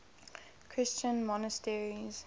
christian monasteries